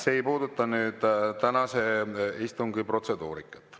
See ei puuduta tänase istungi protseduurikat.